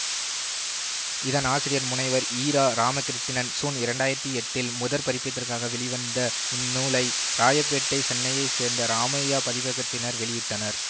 இதன் ஆசிரியர் முனைவர் இரா இராமகிருட்டிணன் சூன் இரண்டு ஆயிரத்தி எட்டில் முதற் பதிப்பதிற்காக வெளிவந்த இந்த நூலை ராயப்பேட்டை சென்னையைச் சேர்ந்த ராமையா பதிப்பகத்தினர் வெளியிட்டனர்